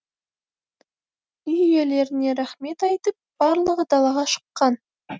үй иелеріне рақмет айтып барлығы далаға шыққан